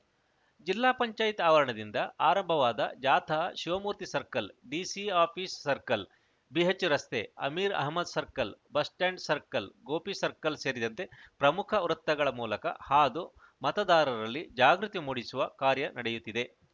ಜಿಲ್ಲಾ ಪಂಚಾಯತ್‌ ಆವರಣದಿಂದ ಆರಂಭವಾದ ಜಾಥಾ ಶಿವಮೂರ್ತಿ ಸರ್ಕಲ್‌ ಡಿಸಿಆಫಿಸ್‌ ಸರ್ಕಲ್‌ ಬಿಎಚ್‌ರಸ್ತೆ Ameer Ahmed circle bus stand circle Gopi circle ಸೇರಿದಂತೆ ಪ್ರಮುಖ ವೃತ್ತಗಳ ಮೂಲಕ ಹಾದು ಮತದಾರರಲ್ಲಿ ಜಾಗೃತಿ ಮೂಡಿಸುವ ಕಾರ್ಯ ನಡೆಯುತ್ತಿದೆ